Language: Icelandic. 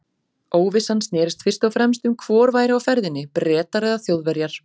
Óvissan snerist fyrst og fremst um hvor væri á ferðinni- Bretar eða Þjóðverjar.